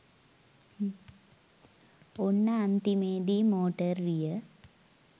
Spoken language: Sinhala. ඔන්න අන්තිමේදී මෝටර් රිය